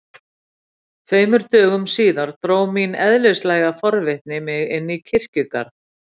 Tveimur dögum síðar dró mín eðlislæga forvitni mig inn í kirkjugarð.